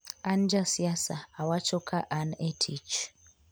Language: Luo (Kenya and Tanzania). An ja siasa, awacho ka an e tich.